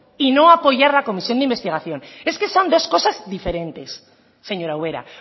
y no apoyar la comisión de investigación es que son dos cosas diferentes señora ubera